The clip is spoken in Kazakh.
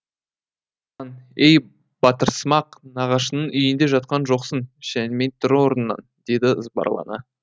ей батырсымақ нағашыңның үйінде жатқан жоқсың шәнимей тұр орныңнан деді ызбарлана